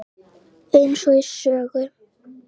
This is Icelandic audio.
Eins og í sögu.